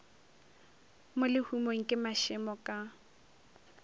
mo lehumong ke mašemo ka